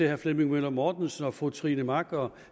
herre flemming møller mortensen og fru trine mach og